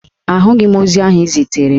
Ahụghị m ozi ahụ ị ziteere m